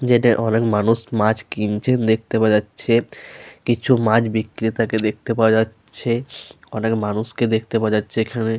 যেটায় অনেক মানুষ মাছ কিনছেন দেখতে পাওয়া যাচ্ছে। কিছু মাছ বিক্রেতা কে দেখতে পাওয়া যাচ্ছে। অনেক মানুষকে দেখতে পাওয়া যাচ্ছে এখানে।